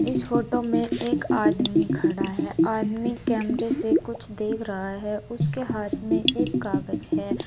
इस फोटो में एक आदमी खड़ा है आदमी कैमरे से कुछ देख रहा है उसके हाथ में एक कागज है।